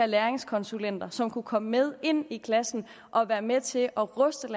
læringskonsulenter som kunne komme med ind i klassen og være med til at ruste